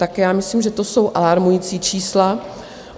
Tak já myslím, že to jsou alarmující čísla.